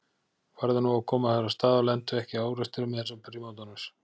Farðu nú að koma þér af stað og lentu ekki í árekstri með þessar prímadonnur